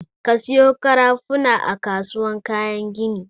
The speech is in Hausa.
Ka sayo ƙarafuna a kasuwar kayan gini!